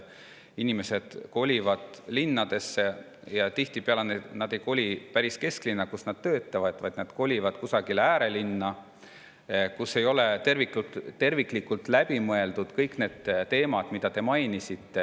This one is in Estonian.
Inimesed kolivad linnadesse ja tihtipeale nad ei koli päris kesklinna, kus nad töötavad, vaid nad kolivad kusagile äärelinna, kus ei ole terviklikult läbi mõeldud kõik need teemad, mida te mainisite.